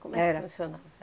Era... É que funcionava?